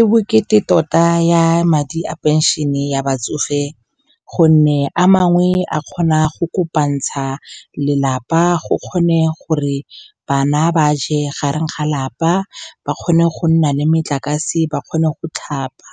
E bokete tota ya madi a phenšene ya batsofe, gonne a mangwe a kgona go kopantsha lelapa go kgone gore bana ba je gareng ga lapa, ba kgone go nna le metlakase, ba kgone go tlhapa